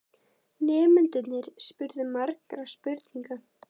Nemendurnir spurðu margra spurninga.